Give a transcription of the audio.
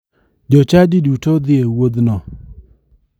Jochadi duto dhi e wuodhno.